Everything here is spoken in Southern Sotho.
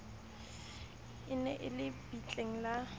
ne e le bitleng la